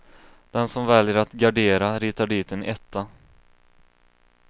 Den som väljer att gardera ritar dit en etta.